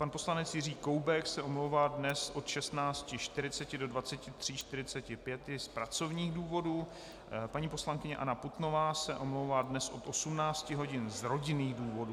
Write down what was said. Pan poslanec Jiří Koubek se omlouvá dnes od 16.40 do 23.45 z pracovních důvodů, paní poslankyně Anna Putnová se omlouvá dnes od 18 hodin z rodinných důvodů.